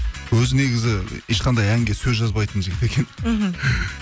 өзі негізі ешқандай әнге сөз жазбайтын жігіт екен мхм